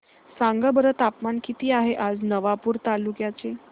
सांगा बरं तापमान किता आहे आज नवापूर तालुक्याचे